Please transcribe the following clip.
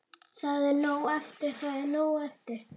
Það er nóg eftir.